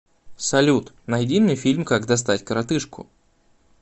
салют найди мне фильм как достать коротыжку